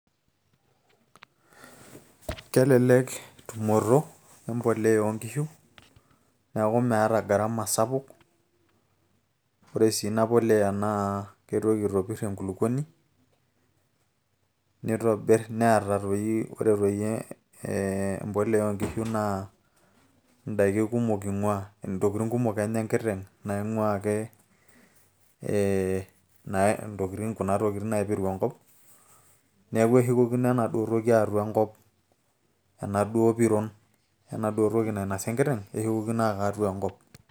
kelelek tumoto e mbolea oonkishu neeku meeta gharama sapuk ore sii ina polea naa keitoki itopirr enkulukuoni nitobirr neeta toi ore toi e mbolea oonkishu naa indaiki kumok ing'uaa ntokitin kumok enya enkiteng naing'uaa ake ee ntokitin kuna tokitin naipiru enkop neeku eshukokino enaduo toki atua enkop enaduo piron enaduo toki nainasa enkiteng eshukokino aka atua enkop.